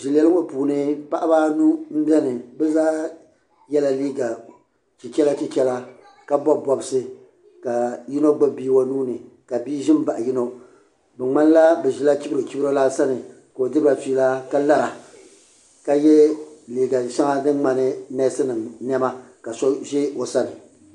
zileli ŋɔ puuni paɣaba anu m be ni paɣa maa yela liiga chichela chichela ka bobi bobsi ka yino gbibi bia o nuuni ka bia ʒin m baɣi yino di ŋmanila bɛ ʒila chibrochibro lana sani ka o diriba fiila ka lara ka ye liiga sheŋa din ŋmani neesi nima niɛma ka so ʒɛ o sani.